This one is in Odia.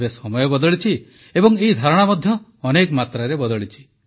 ତେବେ ସମୟ ବଦଳିଛି ଏବଂ ଏହି ଧାରଣା ମଧ୍ୟ ବଦଳିଛି